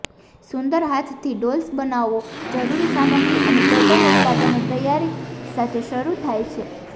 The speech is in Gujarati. સુંદર હાથથી ડોલ્સ બનાવો જરૂરી સામગ્રી અને પેટર્ન ઉત્પાદનો તૈયારી સાથે શરૂ થાય છે